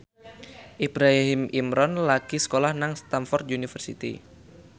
Ibrahim Imran lagi sekolah nang Stamford University